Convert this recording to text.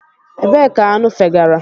Ebee ka aṅụ fegara?